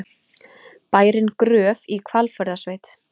Bærinn Gröf í Hvalfjarðarsveit.